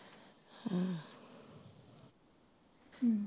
ਹੂ